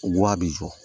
a bɛ jɔ